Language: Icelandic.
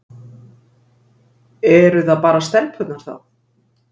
Eru það bara stelpurnar þá?